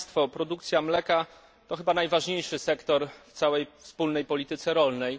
Produkcja mleka to chyba najważniejszy sektor w całej Wspólnej Polityce Rolnej.